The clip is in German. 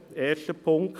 erster Punkt.